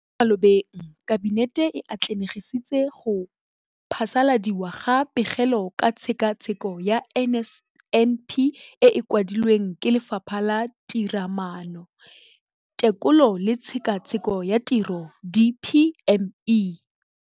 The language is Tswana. Mo malobeng Kabinete e atlenegisitse go phasaladiwa ga Pegelo ka Tshekatsheko ya NSNP e e kwadilweng ke Lefapha la Tiromaano, Tekolo le Tshekatsheko ya Tiro, DPME].